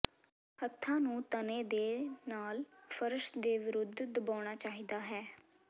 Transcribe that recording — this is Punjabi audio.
ਹੱਥਾਂ ਨੂੰ ਤਣੇ ਦੇ ਨਾਲ ਫਰਸ਼ ਦੇ ਵਿਰੁੱਧ ਦਬਾਉਣਾ ਚਾਹੀਦਾ ਹੈ